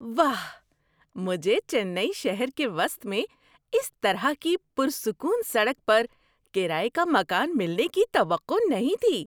واہ! مجھے چنئی شہر کے وسط میں اس طرح کی پرسکون سڑک پر کرایے کا مکان ملنے کی توقع نہیں تھی۔